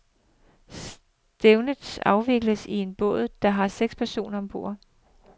Stævnet afvikles i en båd, der har seks personer ombord.